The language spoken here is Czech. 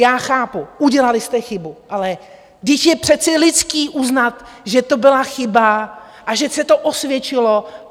Já chápu, udělali jste chybu, ale vždyť je přece lidské uznat, že to byla chyba a že se to osvědčilo.